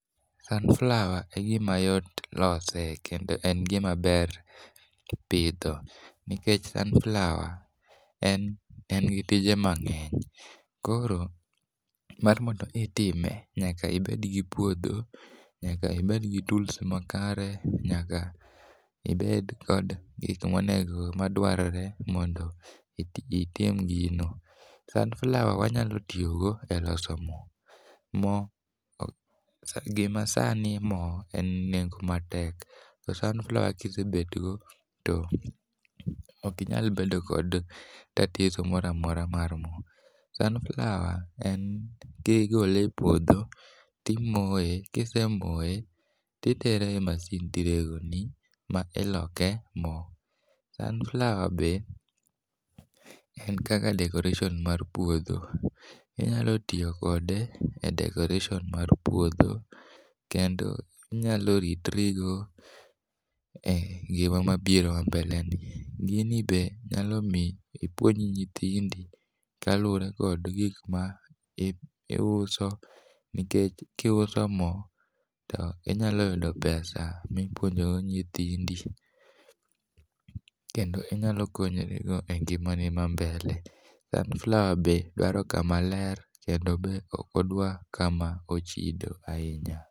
sunflower e gima yot lose kendo en gima ber pidho nikech sunflower en en gi tije mang'eny. Koro mar mondo itime nyaka ibed gi puodho , nyaka ibed gi tools makare nyaka ibed kod gik monego madwarore mondo iti itim gino. Sunflower wanyalo tiyo go e loso moo, moo sa gima sani moo en nengo matek. To sunflower kisebet go ok inyal bedo kod tatizo moramora mar moo . Sunflower en kigole e puodho, timoye kisemoye titere e masin tirego ni ma iloke moo. Sunflower be en kaka decoration mar puodho. Inyalo tiyo kode e decoration mar puodho kendo inyalo ritorigo e ngima mabiro mbeleni. Gini be inyalo miyi ipuonj nyithindi kaluwore kod gik ma iuso nikech kiuso moo to inyalo yudo pesa mipuonjo go nyithindi kendo inyalo konyri go e ngima ni ma mbele. Sunflower be dwaro kama ler kendo be ok odwar kama ochido ahinya.